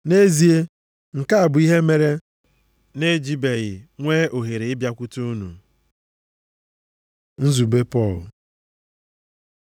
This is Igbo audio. Nʼezie, nke a bụ ihe mere m na-ejibeghị nwee ohere ịbịakwute unu. Nzube Pọl